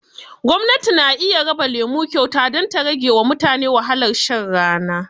Gwamnati na iya raba lema kyauta don ta rage wa mutane wahalar shan rana